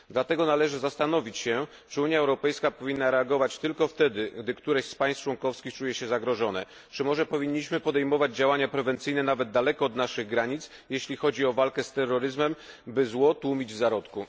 Dlatego należy zastanowić się, czy Unia Europejska powinna reagować tylko wtedy, gdy któreś z państw członkowskich czuje się zagrożone, czy może powinniśmy podejmować działania prewencyjne, nawet daleko od naszych granic, jeśli chodzi o walkę z terroryzmem, aby zło tłumić w zarodku.